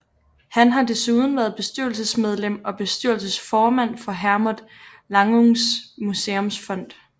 Han har desuden været bestyrelsesmedlem og bestyrelsesformand for Hermod Lannungs Museumsfond